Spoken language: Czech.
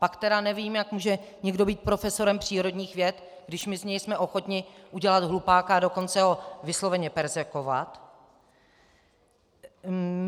Pak tedy nevím, jak může někdo být profesorem přírodních věd, když my z něj jsme ochotni udělat hlupáka, a dokonce ho vysloveně perzekvovat.